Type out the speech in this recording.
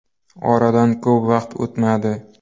Oradan ko‘p vaqt o‘tmadi.